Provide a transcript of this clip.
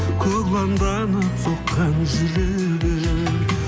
соққан жүрегім